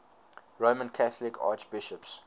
roman catholic archbishops